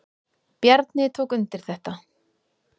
Bjarni tók undir þetta.